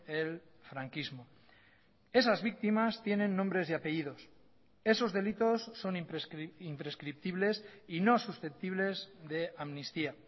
el franquismo esas víctimas tienen nombres y apellidos esos delitos son imprescriptibles y no susceptibles de amnistía